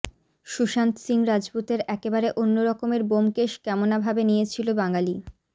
সুশান্ত সিং রাজপুতের একেবারে অন্যরকমের ব্যোমকেশ কেমনাভাবে নিয়েছিল বাঙালি